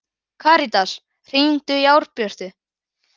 Karitas, hringdu í Árbjörtu.